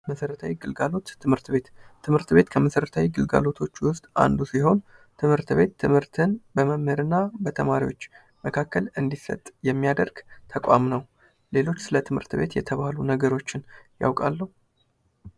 መሠረታዊ ግልጋሎት ትምህርት ቤት ትምህርት ቤት ከመሰረታዊ ግልጋሎቶች ውስጥ አንዱ ሲሆን፤ ትምህርት ቤት ትምህርትን በመምህር እና በተማሪዎች መካከል እንዲሰጥ የሚያደርግ ተቋም ነው። ሌሎች ስለ ትምህርት ቤት የተባሉ ነገሮችን ያውቃሉ?